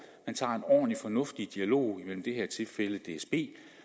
man tager en ordentlig fornuftig dialog i det her tilfælde imellem dsb